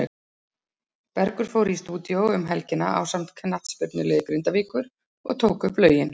Bergur fór í stúdíó um helgina ásamt knattspyrnuliði Grindavíkur og tók upp lögin.